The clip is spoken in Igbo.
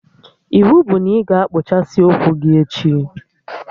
Iwu bụ na ị ga-akpụchasị ụkwụ gị echi!